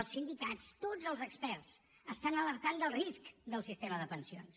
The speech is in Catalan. els sindicats tots els experts alerten del risc del sistema de pensions